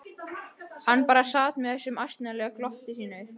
Hann bara sat með þessu ánalega glotti sínu.